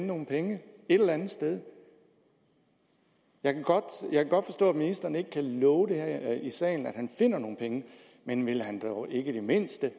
nogle penge et eller andet sted jeg kan godt forstå at ministeren ikke kan love her i salen at han finder nogle penge men vil han dog ikke i det mindste